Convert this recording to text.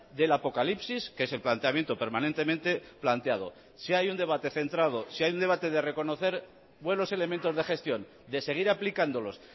del apocalipsis que es el planteamiento permanentemente planteado si hay un debate centrado si hay un debate de reconocer buenos elementos de gestión de seguir aplicándolos